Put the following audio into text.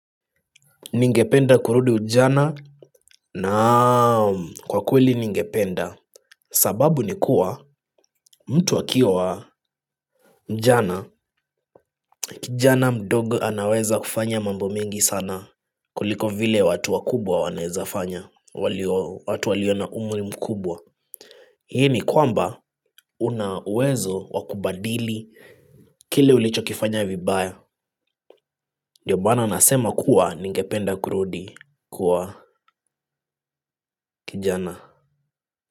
Ningependa kurudi ujana. Naam kwa kweli ningependa. Sababu nikuwa mtu akiwa Mjana Kijana mdogo anaweza kufanya mambo mengi sana kuliko vile watu wakubwa wanaezafanya. Watu walio na umri mkubwa hii ni kwamba una uwezo wa kubadili kile ulichokifanya vibaya. Ndio bana nasema kuwa ningependa kurudi kwa kijana.